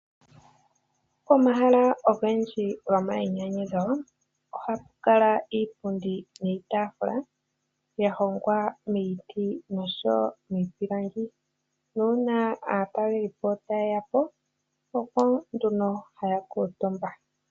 Omahala ogendji gomayinyanyudho ohapu kala iipundi niitafula ya hongwa miiti nomiipilangi nuuna aatalelipo taye ya po oko nduno haya kutumba.